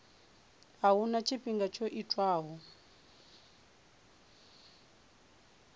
a huna tshifhinga tsho tiwaho